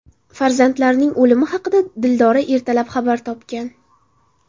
Farzandlarining o‘limi haqida Dildora ertalab xabar topgan.